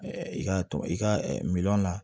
i ka i ka miliyɔn na